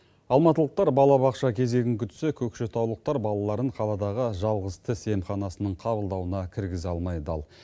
алматылықтар балабақша кезегін күтсе көкшетаулықтар балаларын қаладағы жалғыз тіс емханасының қабылдауына кіргізе алмай дал